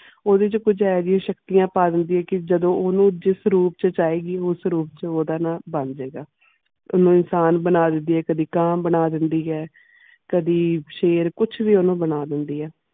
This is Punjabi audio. ਓਦੇ ਕੁਜ ਇਹੋ ਜੈ ਸ਼ਕਤੀਆਂ ਪਾ ਦੇਂਦੀ ਇਹ ਜਾਦੂ ਓਨੁ ਜਿਸ ਰੂਪ ਛ ਚਾਹੀਦੀ ਉਸ ਰੂਪ ਛ ਓਦਾਂ ਨਾ ਬਣ ਜੇਗਾ ਕਦੀ ਇਨਸਾਨ ਬਣਾ ਦੇਂਦੀ ਇਹ ਕਦੀ ਕਾਂ ਬਣਾ ਦੇਂਦੀ ਇਹ ਕਦੀ ਸ਼ੇਰ ਕੁਛ ਵੀ ਓਨੁ ਬਣਾ ਦੇਂਦੀ ਇਹ.